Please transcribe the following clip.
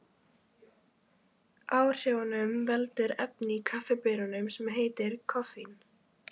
Áhrifunum veldur efni í kaffibaununum sem heitir koffein.